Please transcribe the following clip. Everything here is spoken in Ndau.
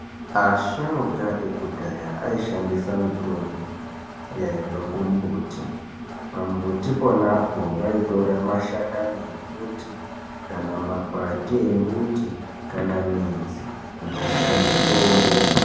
Asharuka ekudhaya ,ayishandisa mitombo yaibva kumumbuti. Pamumbuti ponapo vayitora mashakani embuti, kana makwati embuti kana midzi, kunasira mitombo.